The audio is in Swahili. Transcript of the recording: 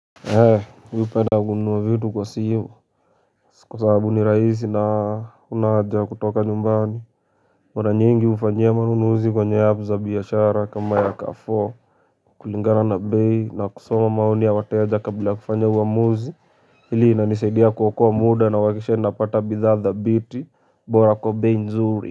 Eeh mi hupenda kununua vitu kwa simu kwa sababu ni rahisi na huna haja ya kutoka nyumbani mara nyingi hufanyia manunuzi kwenye app za biashara kama ya Carrefour kulingana na bei na kusoma maoni ya wateja kabla ya kufanya uamuzi Hili linanisaidia kuokoa muda na uhakisha napata bidhaa dhabiti bora kwa bei nzuri.